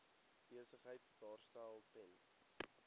besigheid daarstel ten